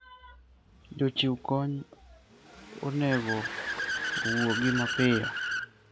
Jochiw kony onego owuogi mapiyo.